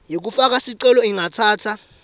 yekufaka sicelo ingatsatsa